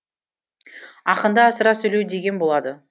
ақында асыра сөйлеу деген болады